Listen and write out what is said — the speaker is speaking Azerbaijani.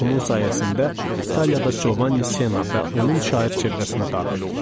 Onun sayəsində İtaliyada Giovanni Senna və onun şair çevrəsinə daxil oldum.